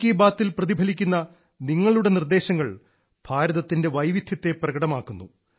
മൻ കി ബാത്തിൽ പ്രതിഫലിക്കുന്ന നിങ്ങളുടെ നിർദ്ദേശങ്ങൾ ഭാരതത്തിന്റെ വൈവിധ്യത്തെ പ്രകടമാക്കുന്നു